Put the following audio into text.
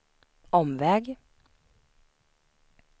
omväg